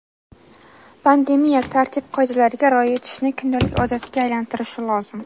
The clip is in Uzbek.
pandemiya tartib-qoidalariga rioya etishni kundalik odatga aylantirishi lozim.